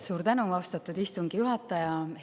Suur tänu, austatud istungi juhataja!